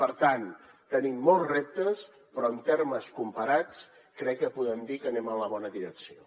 per tant tenim molts reptes però en termes comparats crec que podem dir que anem en la bona direcció